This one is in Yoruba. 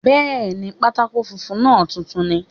Bẹ́ẹ̀ni, pátákó funfun náà tuntun ni